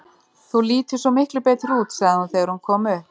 Þú lítur svo miklu betur út, sagði hún þegar hún kom upp.